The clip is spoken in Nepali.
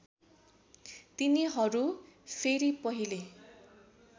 तिनीहरू फेरि पहिले